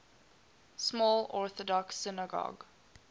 small orthodox synagogue